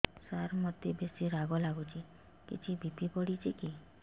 ସାର ମୋତେ ବେସି ରାଗ ଲାଗୁଚି କିଛି ବି.ପି ବଢ଼ିଚି କି